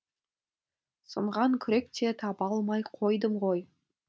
сынған күрек те таба алмай қойдым ғой